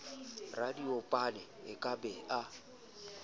radiopane a ka be a